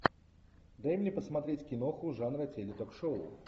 дай мне посмотреть киноху жанра теле ток шоу